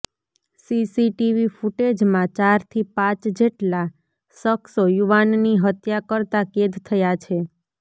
CCTV ફુટેજમાં ચારથી પાંચ જેટલા શખ્સો યુવાનની હત્યા કરતા કેદ થયા છે